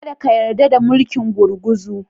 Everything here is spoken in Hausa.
Ka da ka yarda da mulkin gurguzu.